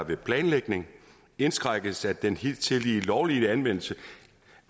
ved planlægning indskrænkes den hidtidige lovlige planlagte anvendelse